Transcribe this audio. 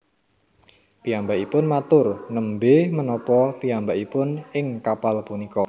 Piyambakipun matur Nembé menapa piyambakipun ing kapal punika